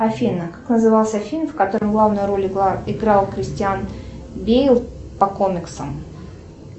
афина как назывался фильм в котором главную роль играл кристиан бейл по комиксам